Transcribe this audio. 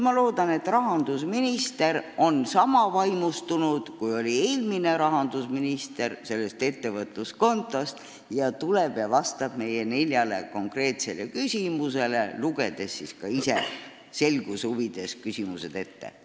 Ma loodan, et praegune rahandusminister on sellest ettevõtluskontost sama vaimustunud, kui oli eelmine rahandusminister, ning tuleb ja vastab meie neljale konkreetsele küsimusele, lugedes need ise selguse huvides ka ette.